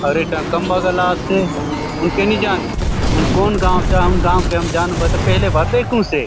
अउर एक टन खम्बा गला आसे हुनके नी जानु हुन कौन गांव आव हुन गांव के जानु से पहली बार देखुसे ।